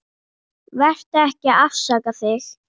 Vertu ekki að afsaka þig.